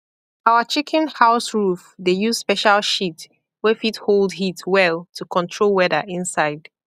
our chicken house roof dey use special sheet wey fit hold heat well to control weather inside